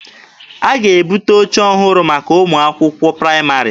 A ga-ebute oche ọhụrụ maka ụmụ akwụkwọ praịmarị.